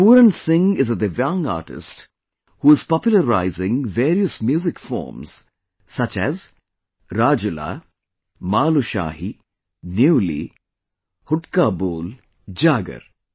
Pooran Singh is a Divyang Artist, who is popularizing various Music Forms such as RajulaMalushahi, Nyuli, Hudka Bol, Jagar